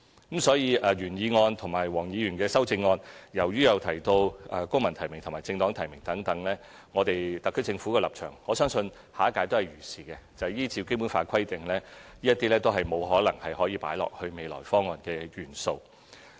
因此，由於原議案和黃議員的修正案均有提到"公民提名"或"政黨提名"等，本屆特區政府的立場，就是依照《基本法》規定，這些建議都無法成為未來的政改方案。